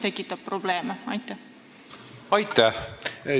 Aitäh!